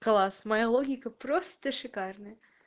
класс моя логика проста шикарная